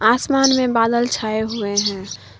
आसमान में बादल छाए हुए हैं।